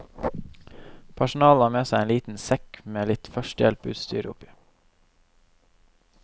Personalet har med seg en liten sekk med litt førstehjelp utstyr oppi.